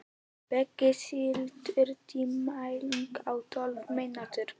Beggi, stilltu tímamælinn á tólf mínútur.